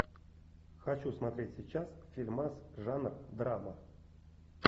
хочу смотреть сейчас фильмас жанр драма